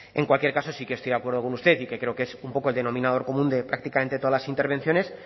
en cualquier caso sí que estoy de acuerdo con usted y que creo que es un poco el denominador común de prácticamente todas las intervenciones